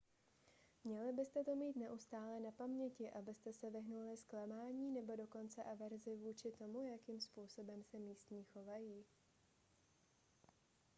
měli byste to mít neustále na paměti abyste se vyhnuli zklamání nebo dokonce averzi vůči tomu jakým způsobem se místní chovají